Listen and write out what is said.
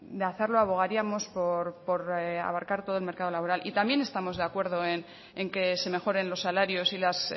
de hacerlo abogaríamos por abarcar todo el mercado laboral y también estamos de acuerdo en que se mejoren los salarios y las